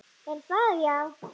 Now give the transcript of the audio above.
Er það já?